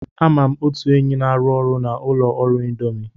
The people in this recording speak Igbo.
Ama m otu enyi m na-arụ ọrụ na ụlọ ọrụ Indomi.